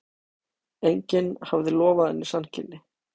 Enginn hafði lofað henni sanngirni.